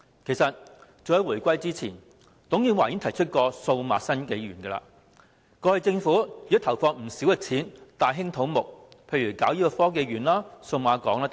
事實上，早於回歸前，董建華已提出"數碼新紀元"，而政府過去亦已投放不少金錢大興土木，例如興建科學園、數碼港等。